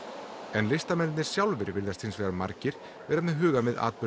en listamennirnir sjálfir virðast hins vegar margir vera með hugann við atburði